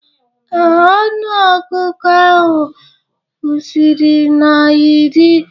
Ee, ọnụ ọgụgụ ahụ kwụsịrị na iri